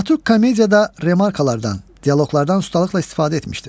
Dramaturq komediyada remarkalardan, dialoqlardan ustalıqla istifadə etmişdir.